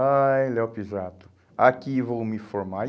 Ai, Léo Pisato, aqui vou me formar. E